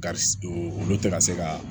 Kari olu tɛ ka se ka